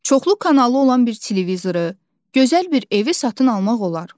Çoxlu kanalı olan bir televizoru, gözəl bir evi satın almaq olar.